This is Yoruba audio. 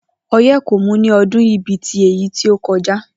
O̩yé̩ kò mú ní o̩dún yìí bí i ti èyí tí ó ko̩já